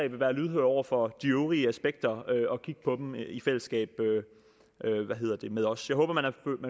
vil være lydhøre over for de øvrige aspekter og kigge på dem i fællesskab med os jeg håber